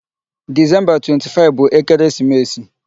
Disemba 25 bụ ekeresimesi.